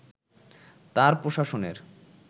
তাঁর প্রশাসনের